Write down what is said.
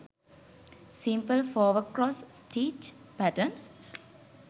simple fower cross stitch patterns